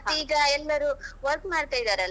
ಮತ್ತೆ ಈಗ ಎಲ್ಲರೂ work ಮಾಡ್ತಾ ಇದ್ದಾರಲ್ಲಾ.